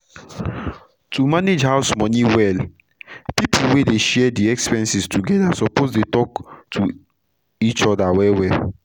to manage house moni well pipu wey dey share d expenses togeda suppose dey talk to each oda well well